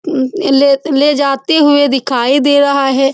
इ ले ले लेजाते हुए दिखाई दे रहा है।